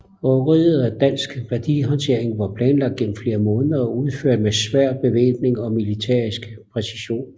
Røveriet af Dansk Værdihåndtering var planlagt gennem flere måneder og udført med svær bevæbning og militærisk præcision